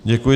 Děkuji.